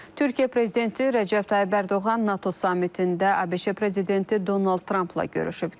Türkiyə prezidenti Rəcəb Tayyib Ərdoğan NATO samitində ABŞ prezidenti Donald Trampla görüşüb.